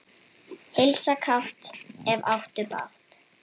Heilsa kátt, ef áttu bágt.